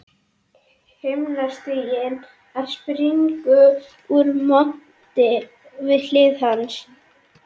Himnastiginn að springa úr monti við hlið hans.